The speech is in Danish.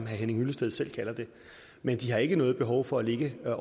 henning hyllested selv kalder det men de har ikke noget behov for at ligge og